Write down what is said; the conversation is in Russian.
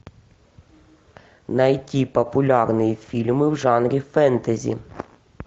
найти популярные фильмы в жанре фэнтези